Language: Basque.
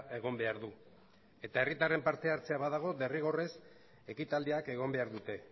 egon behar du eta herritarren parte hartzea badago derrigorrez ekitaldiak egon behar dute